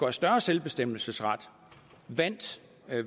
og større selvbestemmelsesret vandt